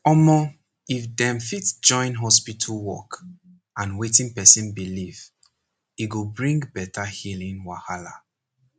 omor if dem fit join hospital work and wetin person believe e go bring better healing wahala